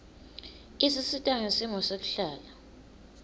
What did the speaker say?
isisita ngesimo sekuhlala